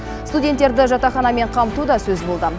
студенттерді жатақханамен қамту да сөз болды